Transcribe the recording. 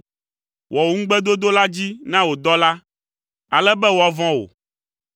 Wɔ wò ŋugbedodo la dzi na wò dɔla, ale be woavɔ̃ wò.